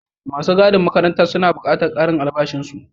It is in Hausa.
Masu gadin makarantan suna buƙatan ƙarin albashin su.